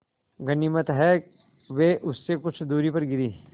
गनीमत है वे उससे कुछ दूरी पर गिरीं